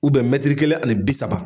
mɛtiri kelen ani bi saba